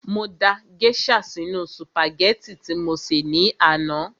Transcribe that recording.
Mo da gèésà sínu sùpàgẹ́tì tí mo sè ní àná